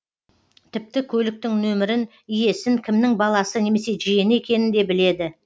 тіпті көліктің нөмірін иесін кімнің баласы немесе жиені екенін де біледі